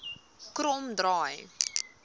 kromdraai